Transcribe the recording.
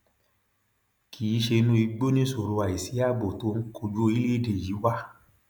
kì í ṣe inú igbó nìṣòro àìsí ààbò tó ń kojú orílẹèdè yìí wá